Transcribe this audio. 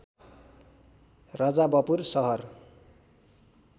रजाबपुर सहर